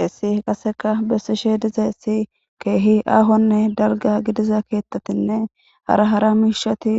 Hessi qaseka bessi shee diza essi keehi aahonne dalga gidiza keettatinne hara hara miishati